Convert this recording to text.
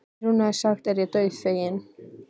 Í trúnaði sagt er ég dauðfeginn.